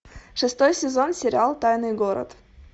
шестой сезон сериал тайный город